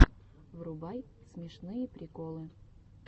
врубай смешные приколы